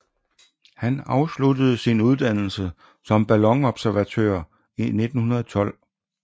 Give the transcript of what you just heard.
Han afsluttede sin uddannelse som ballonobservatør i 1912